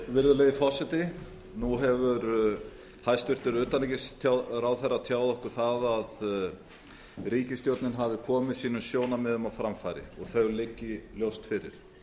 virðulegi forseti nú hefur hæstvirtur utanríkisráðherra tjáð okkur að ríkisstjórnin hafi komið sínum sjónarmiðum á framfæri og þau liggi ljóst fyrir